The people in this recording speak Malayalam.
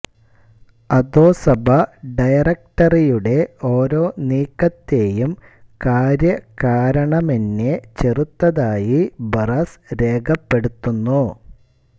അധോസഭ ഡയറക്റ്ററിയുടെ ഓരോ നീക്കത്തേയും കാര്യകാരണമെന്യെ ചെറുത്തതായി ബറാസ് രേഖപ്പെടുത്തുന്നു